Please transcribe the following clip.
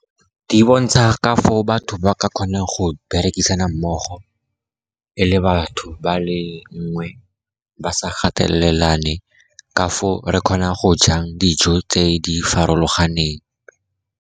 Di bontsha ka foo batho ba ka kgonang go berekisana mmogo e le batho ba le mongwe, ba sa gatelelane, ka foo re kgona go jang dijo tse di farologaneng.